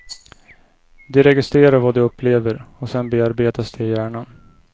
De registrerar vad de upplever, och sen bearbetas det i hjärnan.